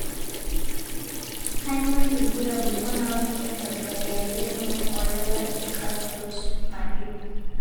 Kainyio irbulabul onaapuku enkabila e are O emuoyian oolala eCharcot Marie?